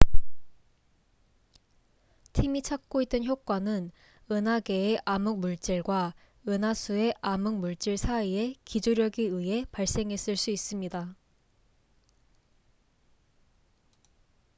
팀이 찾고 있던 효과는 은하계의 암흑물질과 은하수의 암흑물질 사이의 기조력에 의해 발생했을 수 있습니다